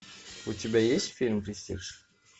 у тебя есть фильм престиж